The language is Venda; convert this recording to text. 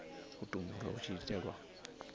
u tumbulwa hu tshi itelwa